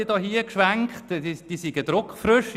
Sie hat gesagt, diese wären druckfrisch.